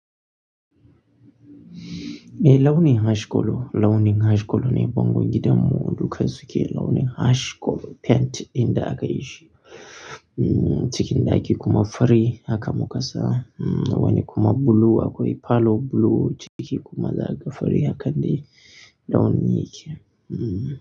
Eh launin harskolo, launin harskolo ne bango gidan mu duk haske launin harskolo. Pant inda aka yi shi, mm, ciki in da ake kuma fari aka makasa. Mm, wani kuma blue akwai falo blue ciki kuma za a ga fari a kan the launin yake. Mm.